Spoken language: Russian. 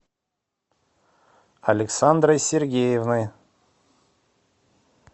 александрой сергеевной